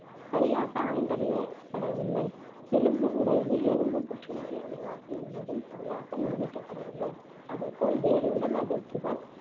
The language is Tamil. சரியாக ஆய்ந்தறியப்படவில்லை. எலும்பு உடைவு எலும்புப் புற்றுநோயை உருவாக்கும் என்பதும் சரியாக நிரூபிக்கப்படவில்லை. அதேபோல் வேறு உடல் அதிர்ச்சிகள்